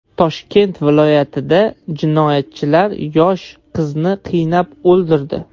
Toshkent viloyatida jinoyatchilar yosh qizni qiynab o‘ldirdi.